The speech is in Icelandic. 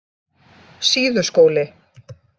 Síðuskóli